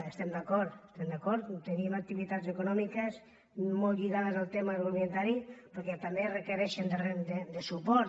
hi estem d’acord hi estem d’acord tenim activitats econòmiques molt lli·gades al tema agroalimentari però que també reque·reixen suport